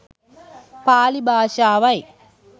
Pali භාෂාවයි.